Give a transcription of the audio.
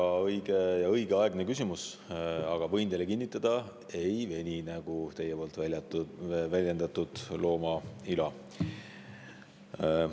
Väga õige ja õigeaegne küsimus, aga võin teile kinnitada: ei veni, nagu teie väljendasite, nagu looma ila.